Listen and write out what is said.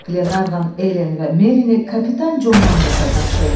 Qlenarvan Ellen və Merini kapitan Con Manqlsa tapşırdı.